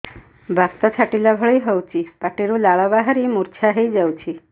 ବାତ ଛାଟିଲା ଭଳି ହଉଚି ପାଟିରୁ ଲାଳ ବାହାରି ମୁର୍ଚ୍ଛା ହେଇଯାଉଛି